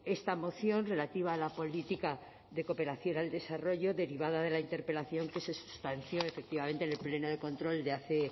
esta moción relativa a la política de cooperación al desarrollo derivada de la interpelación que se substanció efectivamente en el pleno de control de hace